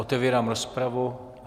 Otevírám rozpravu.